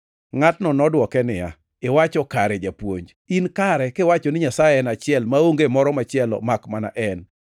Ngʼatno nodwoke niya, “Iwacho kare, Japuonj. In kare kiwacho ni Nyasaye en achiel maonge moro machielo makmana En.